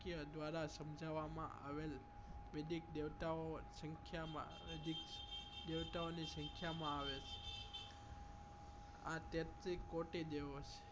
કય દ્વારા સમજાવવા આવેલ વેદિક દેવતાઓ એ સંખ્યા માં નજીક દેવતાઓ ની સંખ્યા ઓ માં આવે આ તેત્રી કોટી દેવો છે